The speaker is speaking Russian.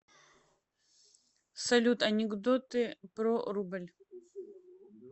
салют анекдоты про рубль